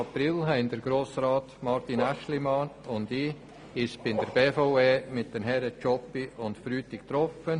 Am 24. April haben Grossrat Aeschlimann und ich uns bei der BVE mit den Herren Tschopp und Frutig getroffen.